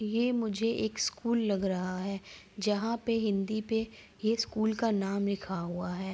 ये मुझे एक स्कूल लग रहा है जहाँ पे हिंदी पे ये स्कूल का नाम लिखा हुआ है।